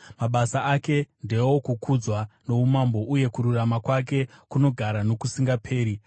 Mabasa ake ndeokukudzwa noumambo, uye kururama kwake kunogara nokusingaperi.